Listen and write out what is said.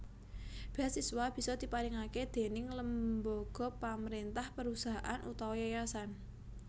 Beasiswa bisa diparingake déning lembaga pamrentah perusahaan utawa yayasan